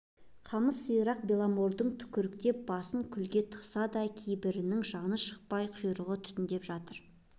қамыс сирақ беломордың түкіріктеп басын күлге тықса да кейбірінің жаны шықпай құйрығы түтіндеп жатыр